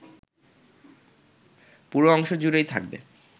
পুরো অংশ জুড়েই থাকবে